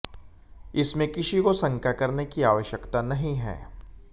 इसमें किसी को शंका करने की आवश्यकता नहीं है